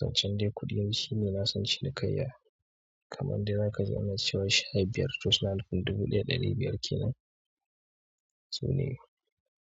Zancen dai kuɗin shi ne na san shi kamar dai za ka ji ana cewa sha biyar to suna nufin to dubu ɗaya da ɗari biyar kenan su ne.